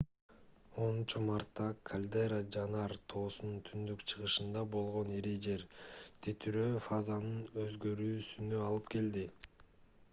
10-мартта кальдера жанар тоосунун түндүк-чыгышында болгон ири жер титирөө фазанын өзгөрүүсүнө алып келди